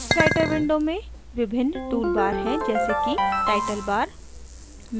writer window में विभिन्न tool bars हैं जैसे कि टाइटल bars